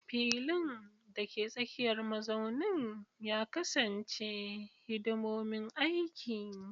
Filin, dake tsakiyar mazaunin, ya kasance hidimomin aiki.